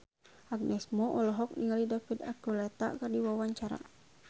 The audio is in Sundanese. Agnes Mo olohok ningali David Archuletta keur diwawancara